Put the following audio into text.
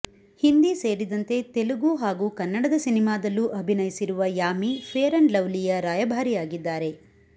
ಹಿಂದಿ ಸೇರಿದಂತೆ ತೆಲುಗು ಹಾಗೂ ಕನ್ನಡದ ಸಿನಿಮಾದಲ್ಲೂ ಅಭಿನಯಿಸಿರುವ ಯಾಮಿ ಫೇರ್ ಅಂಡ್ ಲವ್ಲಿ ಯ ರಾಯಭಾರಿಯಾಗಿದ್ದಾರೆ